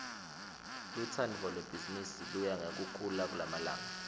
lutsandvo lwebhizimisi luya ngekukhula kulamalanga